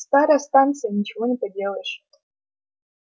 старая станция ничего не поделаешь